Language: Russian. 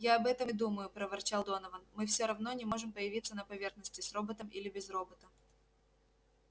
я об этом и думаю проворчал донован мы все равно не можем появиться на поверхности с роботом или без робота